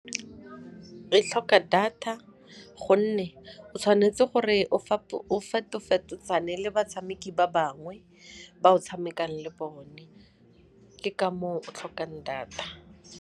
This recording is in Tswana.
E tlhoka data gonne o tshwanetse gore le batshameki ba bangwe ba o tshamekang le bone, ke ka moo tlhokang data.